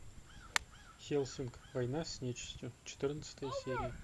хеллсинг война с нечистью четырнадцатая серия